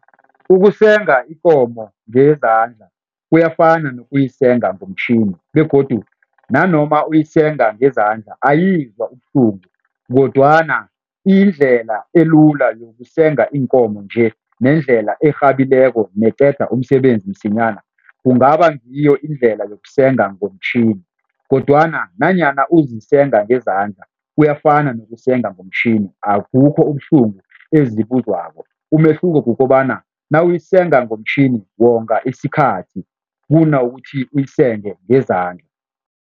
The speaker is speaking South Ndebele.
Ukusenga ikomo ngezandla kuyafana nokubuyisenga ngomtjhini begodu nanoma uyisenga ngezandla, ayizwa ubuhlungu kodwana indlela elula yokusenga iinkomo nje nendlela erhabileko neqeda umsebenzi msinyana kungaba ngiyo indlela yokusenga ngomtjhini. Kodwana nanyana uzisenga ngezandla, kuyafana nokusenga ngomtjhini, abukho ubuhlungu ezibuzwako, umehluko kukobana nawuyisenga ngomtjhini wonga isikhathi kunokuthi uyisenge ngezandla.